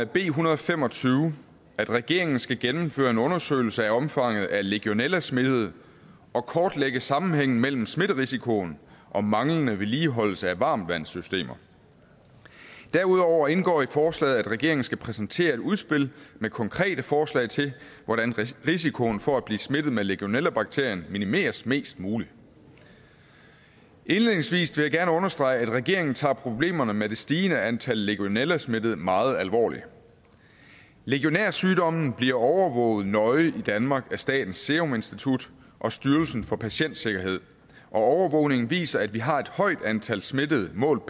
b en hundrede og fem og tyve at regeringen skal gennemføre en undersøgelse af omfanget af legionellasmittede og kortlægge sammenhængen mellem smitterisikoen og manglende vedligeholdelse af varmtvandssystemer derudover indgår det i forslaget at regeringen skal præsentere et udspil med konkrete forslag til hvordan risikoen for at blive smittet med legionellabakterien minimeres mest muligt indledningsvis vil jeg gerne understrege at regeringen tager problemerne med det stigende antal legionellasmittede meget alvorligt legionærsygdommen bliver overvåget nøje i danmark af statens serum institut og styrelsen for patientsikkerhed og overvågningen viser at vi har et højt antal smittede målt